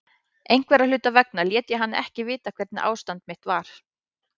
Einhverra hluta vegna lét ég hann ekki vita hvernig ástand mitt var.